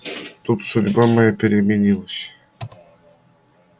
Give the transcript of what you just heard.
тут судьба моя переменилась